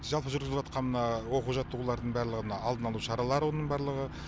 жалпы жүргізіліватқан оқу жаттығулардың барлығы мына алдын ала шара олардың барлығы